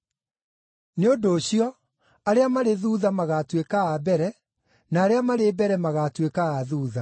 “Nĩ ũndũ ũcio arĩa marĩ thuutha, magaatuĩka a mbere, na arĩa marĩ mbere magaatuĩka a thuutha.”